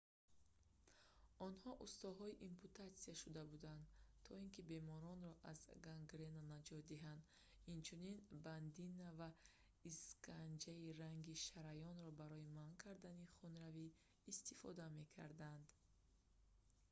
онҳо устоҳои ампутатсия шуда буданд то ин ки беморонро аз гангрена наҷот диҳанд инчунин бандина ва исканҷаи раги шараёнро барои манъ кардани хунравӣ истифода мекарданд